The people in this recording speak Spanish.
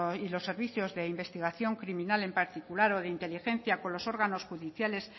y los servicios de investigación criminal en particular o de inteligencia con los órganos judiciales